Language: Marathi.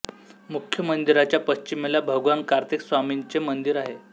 मुख्य मंदिराच्या पश्चिमेला भगवान कार्तिक स्वामींचे मंदिर आहे